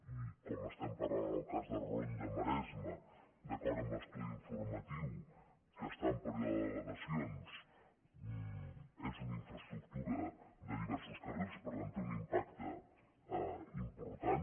i com estem parlant del cas de ronda maresme d’acord amb l’estudi informatiu que està en període d’al·legacions és una infraestructura de diversos carrils per tant té un impacte important